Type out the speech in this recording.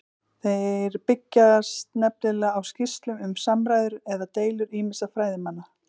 Þeir byggjast nefnilega á skýrslum um samræður eða deilur ýmissa fræðimanna.